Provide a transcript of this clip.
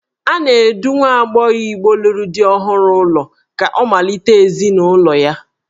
A na-edu nwa agbọghọ Igbo lụrụ di ọhụrụ ụlọ ka ọ malite ezinụlọ ya.